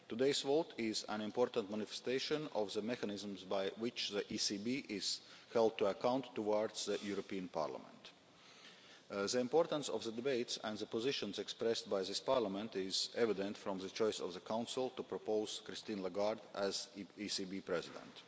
Today's vote is an important manifestation of the mechanisms by which the ECB is held to account towards the European Parliament. The importance of the debates and the positions expressed by this Parliament are evident from the choice of the Council to propose Christine Lagarde as ECB President.